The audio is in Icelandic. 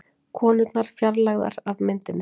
Konurnar fjarlægðar af myndinni